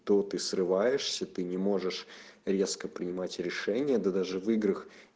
то ты срываешься ты не можешь резко принимать решение да даже в играх